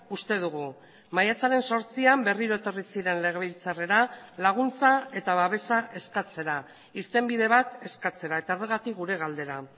uste dugu maiatzaren zortzian berriro etorri ziren legebiltzarrera laguntza eta babesa eskatzera irtenbide bat eskatzera eta horregatik gure galdera